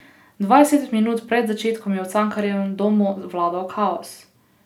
Dvajset minut pred začetkom je v Cankarjevem domu vladal kaos.